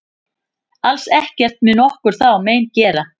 Alls ekkert mun okkur þá mein gera.